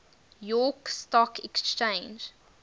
york stock exchange